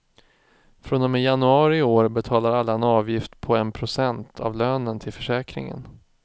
Från och med januari i år betalar alla en avgift på en procent av lönen till försäkringen.